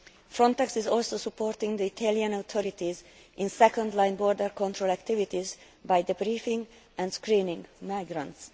Frontex is also supporting the Italian authorities in second line border control activities by the briefing and screening of migrants.